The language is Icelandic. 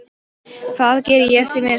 Það geri ég því miður stundum.